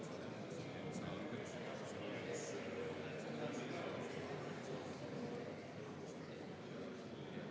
Raimond Kaljulaid, küsimus istungi läbiviimise reeglite kohta.